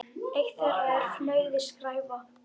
Eitt þeirra er fnauði: skræfa.